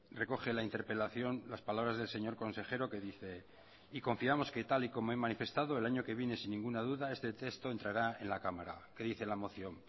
recoge la interpelación las palabras del señor consejero que dice y confiamos que tal y como he manifestado el año que viene sin ninguna duda este texto entrará en la cámara qué dice la moción